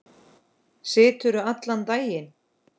Siturðu allan daginn?